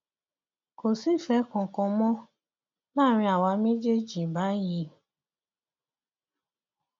kò sífẹẹ kankan mọ láàrin àwa méjèèjì báyìí